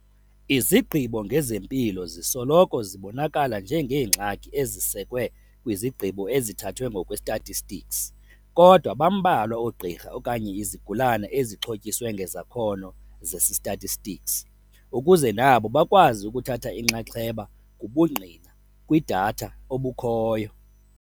Izigqibo ngezempilo zisoloko zibonakala njengeengxaki ezisekwe kwizigqibo ezithathwe ngokwe-statistics, kodwa bambalwa oogqirha okanye izigulana ezixhotyiswe ngezakhono zesi-statistics, ukuze nabo bakwazi ukuthatha inxaxheba kubungqina, kwi-data, obukhoyo.